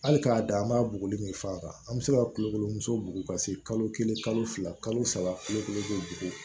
Hali k'a da an b'a buguri min fɔ a kan an bɛ se ka kulokolonmuso bugu ka se kalo kelen kalo fila kalo saba kalo kelen b'o